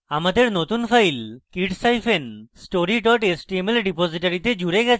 আমাদের নতুন file kidsstory html রিপোজিটরীতে জুড়ে গেছে